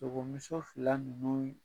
Sogomuso fila ninnu